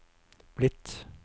blitt